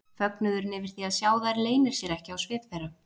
Fögnuðurinn yfir því að sjá þær leynir sér ekki á svip þeirra.